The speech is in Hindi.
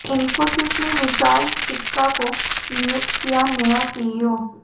इंफोसिस ने विशाल सिक्का को नियुक्त किया नया सीईओ